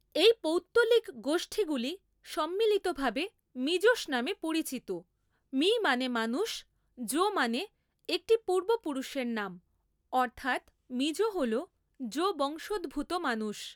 এই পৌত্তলিক গোষ্ঠীগুলি সম্মিলিতভাবে মিজোস নামে পরিচিত, মি মানে মানুষ, জো মানে একটি পূর্বপুরুষের নাম, অর্থাৎ মিজো হল জো বংশোদ্ভূত মানুষ।